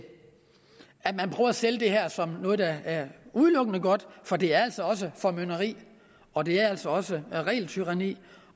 sælge det her som noget der udelukkende er godt for det er altså også formynderi og det er altså også regeltyranni